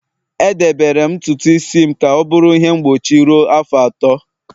Edebere m ntutu isi m ka ọ bụrụ ihe mgbochi ruo afọ atọ